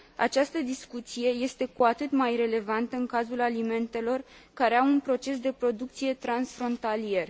Această discuție este cu atât mai relevantă în cazul alimentelor care au un proces de producție transfrontalier.